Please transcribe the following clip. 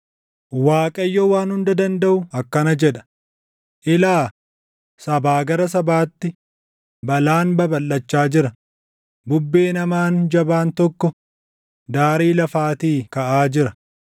Waaqayyo Waan Hunda Dandaʼu akkana jedha: “Ilaa! Sabaa gara sabaatti balaan babalʼachaa jira; bubbeen hamaan jabaan tokko daarii lafaatii kaʼaa jira.”